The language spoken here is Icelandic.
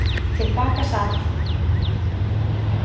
Til baka sat